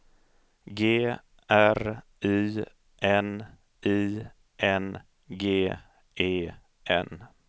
G R Y N I N G E N